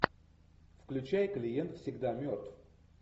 включай клиент всегда мертв